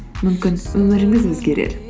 мүмкін өміріңіз өзгерер